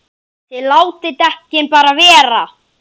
ÞIÐ LÁTIÐ DEKKIN BARA VERA!